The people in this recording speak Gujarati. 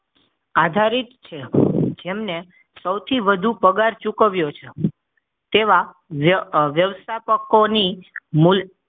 આધારિત છે જેમ ને સૌથી વધુ પગાર ચૂકવ્યો છે તેવા વ્યવસ્થાપકો ની મૂલ